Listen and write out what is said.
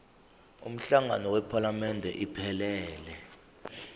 umhlangano wephalamende iphelele